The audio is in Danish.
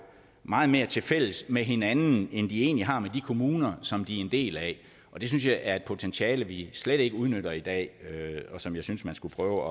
meget mere tilfælles med hinanden end de egentlig har med de kommuner som de er en del af det synes jeg er et potentiale vi slet ikke udnytter i dag og som jeg synes man skulle prøve